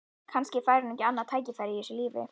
Kannski fær hún ekki annað tækifæri í þessu lífi.